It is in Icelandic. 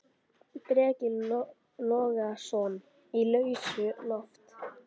Breki Logason: Í lausu loft?